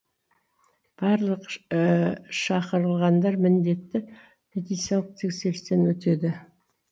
барлық шақырылғандар міндетті медициналық тексерістен өтеді